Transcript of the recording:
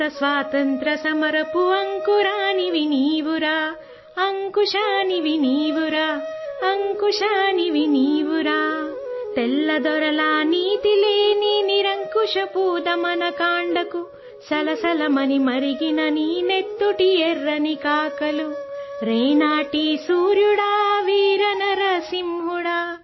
Telugu sound clip 27 seconds Hindi translation